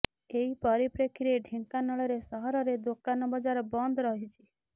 ଏହି ପରିପ୍ରେକ୍ଷୀରେ ଢ଼େଙ୍କାନାଳରେ ସହରରେ ଦୋକାନ ବଜାର ବନ୍ଦ ରହିଛି